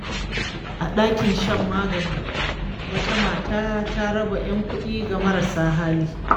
A dakin shan magani, wata mata ta raba ‘yan kuɗi ga marasa hali.